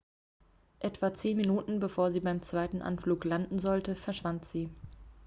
etwa zehn minuten bevor sie beim zweiten anflug landen sollte verschwand sie